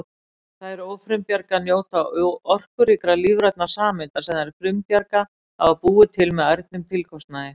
Þær ófrumbjarga njóta orkuríkra lífrænna sameinda sem þær frumbjarga hafa búið til með ærnum tilkostnaði!